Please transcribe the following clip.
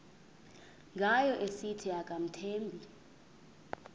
ngayo esithi akamthembi